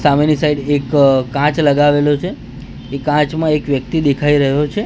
સામેની સાઈડ એક કાચ લગાવેલો છે એ કાચ માં એક વ્યક્તિ દેખાય રહ્યો છે.